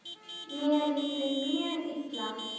Mér líður mjög illa.